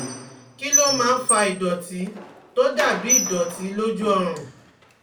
Kí ló máa ń fa ìdọ̀tí tó dà bí ìdọ̀tí lójú ọrùn?